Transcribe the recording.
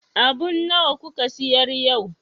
Abun nawa kuka siyar yau?